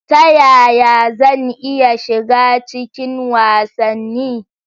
Ta yaya zan iya shiga cikin wasanni?